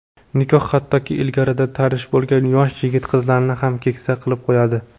Nikoh hattoki ilgaridan tanish bo‘lgan yosh yigit-qizlarni ham keksa qilib qo‘yadi.